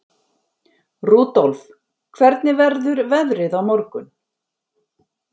Rudolf, hvernig verður veðrið á morgun?